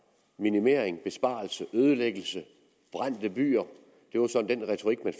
minimering besparelse ødelæggelse og brændte byer det var den retorik man